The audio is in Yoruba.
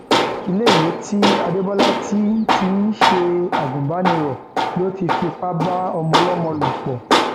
iléèwé tí adébólà ti ń ti ń ṣe agùnbánirò ló ti fipá bá ọmọọlọmọ lò pọ